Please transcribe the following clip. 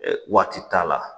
Waati t'a la